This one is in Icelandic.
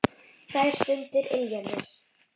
Þær stundir ylja mér.